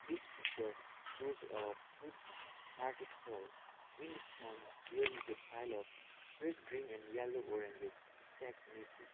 this picture shows a fruit market stall in the front there is a pile of fresh green and yellow oranges stacked neatly.